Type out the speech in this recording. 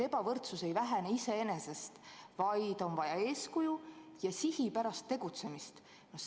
Ebavõrdsus ei vähene iseenesest, vaid on vaja eeskuju ja sihipärast tegutsemist.